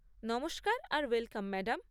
নমস্কার আর welcome madam.